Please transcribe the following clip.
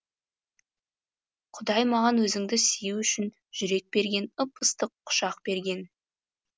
құдай маған өзіңді сүю үшін жүрек берген ып ыстық құшақ берген